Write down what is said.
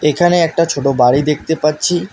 এখানে একটা ছোট বাড়ি দেখতে পাচ্ছি।